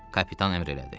Kapitan əmr elədi.